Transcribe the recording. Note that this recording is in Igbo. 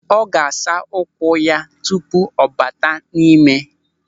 Ọ ga-asa ụkwụ ya tupu ọ bata n'ime.